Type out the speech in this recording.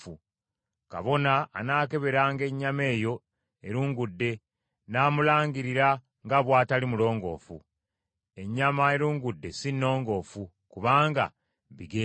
Kabona anaakeberanga ennyama eyo erungudde, n’amulangirira nga bw’atali mulongoofu. Ennyama erungudde si nnongoofu, kubanga bigenge.